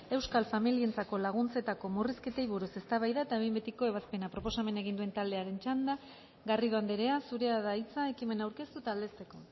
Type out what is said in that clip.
euskal familientzako laguntzetako murrizketei buruz eztabaida eta behin betiko ebazpena proposamena egin duen taldearen txanda garrido andrea zurea da hitza ekimena aurkeztu eta aldezteko